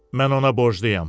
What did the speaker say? Mən ona borcluyam.